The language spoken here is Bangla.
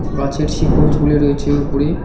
গাছের শিকড় ঝুলে রয়েছে উপরে।